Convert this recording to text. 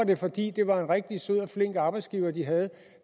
det fordi det var en rigtig sød og flink arbejdsgiver de havde